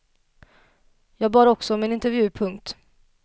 Jag bad alltså om en intervju. punkt